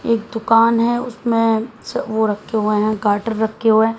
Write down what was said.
एक दुकान है उसमें वो रखे हुए हैं गाटर रखे हुए हैं।